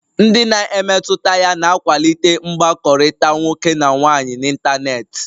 Ndị na-emetụta ya na-akwalite mkpakọrịta nwoke na nwaanyị n'ịntanetị